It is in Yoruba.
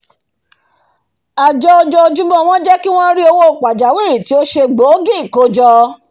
àjọ ọjọjúmọ́ wọn jẹ́ kí wọ́n ri owó pàjáwìrì tí o se gbòógì kójọ